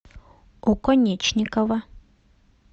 оконечникова